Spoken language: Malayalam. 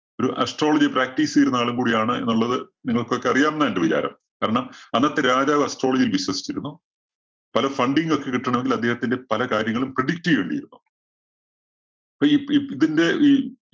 ഒരു astrology practice ചെയ്തിരുന്ന ആളും കൂടിയാണ് എന്നുള്ളത് നിങ്ങൾക്കൊക്കെ അറിയാംന്നാ എന്റെ വിചാരം. കാരണം, അന്നത്തെ രാജാവ് astrology യിൽ വിശ്വസിച്ചിരുന്നു. പല funding ഒക്കെ കിട്ടണമെങ്കിൽ അദ്ദേഹത്തിന്റെ പല കാര്യങ്ങളും predict ചെയ്യേണ്ടിയിരുന്നു. ഇതിന്റെ ഈ